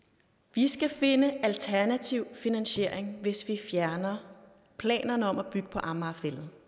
vi skal finde en alternativ finansiering hvis vi fjerner planerne om at bygge på amager fælled